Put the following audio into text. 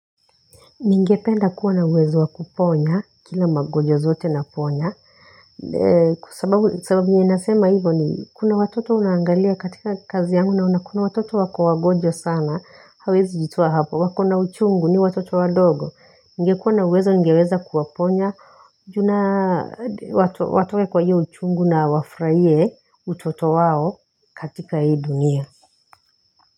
Ningependa kuwa na uwezo wa kuponya, kila magonjwa zote naponya. Sababu ninasema hivo ni kuna watoto naangalia katika kazi yangu naona kuna watoto wako wagonjwa sana, hawaezi jitoa hapo. Wako na uchungu ni watoto wadogo. Ningekuwa na uwezo ningeweza kuwaponya watoe kwa hiyo uchungu na wafurahie utoto wao katika hii dunia.